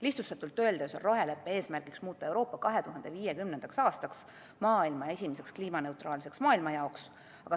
Lihtsustatult öeldes on roheleppe eesmärk muuta Euroopa 2050. aastaks esimeseks kliimaneutraalseks maailmajaoks.